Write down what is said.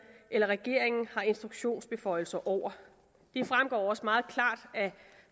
eller regeringen har instruktionsbeføjelser over det fremgår også meget klart